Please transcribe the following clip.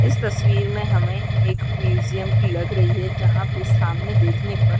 इस तस्वीर में हमें एक म्यूजियम की लग रही है जहाँ पे सामने देकने पर --